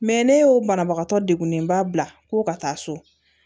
Mɛ ne y'o banabagatɔ degunlenba bila ko ka taa so